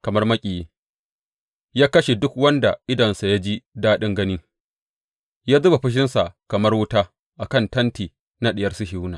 Kamar maƙiyi, ya kashe duk wanda idonsa ya ji daɗin gani; ya zuba fushinsa kamar wuta a kan tenti na Diyar Sihiyona.